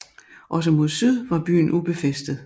Også mod syd var byen ubefæstet